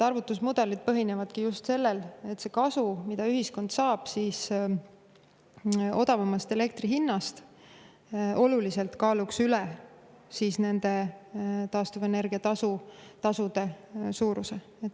Arvutusmudelid põhinevadki just sellel, et see kasu, mida ühiskond saab odavamast elektri hinnast, kaaluks oluliselt üle taastuvenergia tasude suuruse.